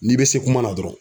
N'i be se kuma na dɔrɔn